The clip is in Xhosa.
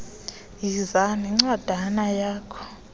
yiza nencwadana yakho